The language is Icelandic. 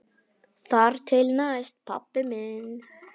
Þar til næst, pabbi minn.